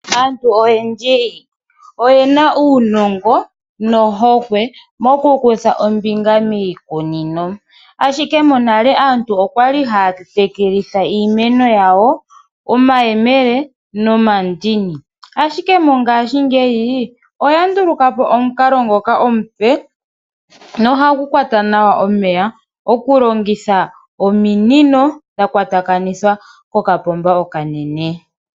Aantu oyendji oyena uunongo nohokwe mokukutha ombinga miikunino ashike monale aantu okwali haya tekelitha iimeno yawo omayemele nomandini ashike mongaashi ngeyi oya ndulukapo omukalo ngoka omupe nohagu kwata nawa omeya okulongitha ominino dhakwatakanithwa kokapomba okanene.